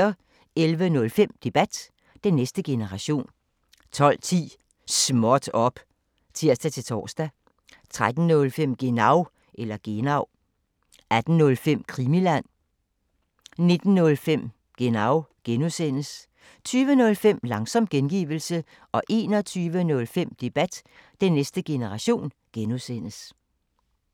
11:05: Debat: Den næste generation 12:10: Småt op! (tir-tor) 13:05: Genau 18:05: Krimiland 19:05: Genau (G) 20:05: Langsom gengivelse 21:05: Debat: Den næste generation (G)